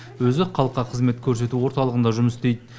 өзі халыққа қызмет көрсету орталығында жұмыс істейді